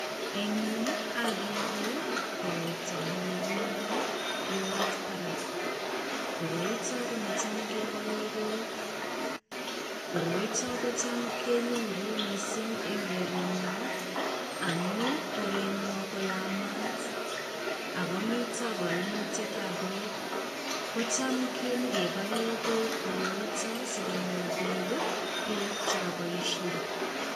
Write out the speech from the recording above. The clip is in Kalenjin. Eng' yu akere koroito nekikinde lorit barak. Koroito ko ne cham kebalee beek. Koroito kocham kenyoru mising eng' korenyo amu korenyo koyamat ak komito kaimutietab beek. Kocham nyikebalee beek koroito sikonyor biik beek chekabaishe.